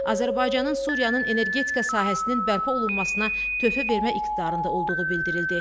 Azərbaycanın Suriyanın energetika sahəsinin bərpa olunmasına töhfə vermək iqtidarında olduğu bildirildi.